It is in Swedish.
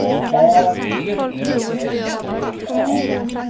A V E S T A